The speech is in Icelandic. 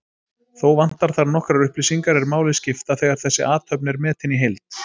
Þó vantar þar nokkrar upplýsingar er máli skipta þegar þessi athöfn er metin í heild.